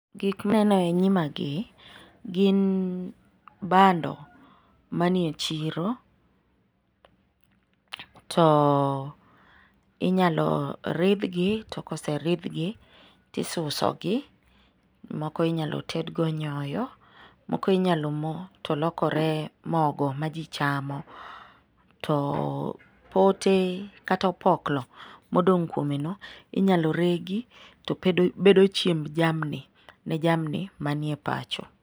Gik ma aneno e nyimagi, gin bando manie chiro. To inyalo ridhgi , to koseridhgi to isusogi, to moko inyalo tedgo nyoyo , moko inyalo moo to lokore mogo ma ji chamo. To, pote kata opoklo modong' kuomeno inyalo regi to bedo chiemb jamni ne jamni manie pacho.